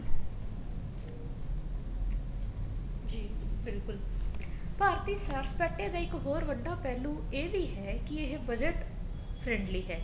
ਜੀ ਬਿਲਕੁਲ ਭਾਰਤੀ ਸੈਰ ਸਪਾਟੇ ਦਾ ਇੱਕ ਹੋਰ ਵੱਡਾ ਪਹਿਲੂ ਇਹ ਵੀ ਹੈ ਕੀ ਇਹ budget friendly ਹੈ